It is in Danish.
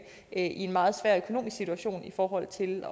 en meget svær økonomisk situation i forhold til